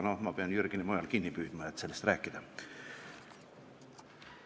Pean Jürgeni mujal kinni püüdma, et sellest rääkida.